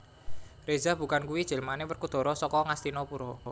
Reza Bukan kuwi jelmaane Werkudara saka Ngastina Pura